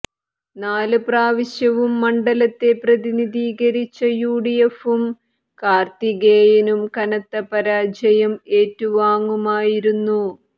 നാല് പ്രാവശ്യവും മണ്ഡലത്തെ പ്രതിനിധീകരിച്ച യുഡിഎഫും കാര്ത്തികേയനും കനത്തപരാജയം ഏറ്റുവാങ്ങുമായിരുന്നു